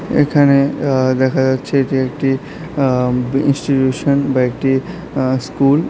এখানে আঃ দেখা যাচ্ছে যে একটি আঃ ইনস্টিটিউশন বা একটি আঃ স্কুল ।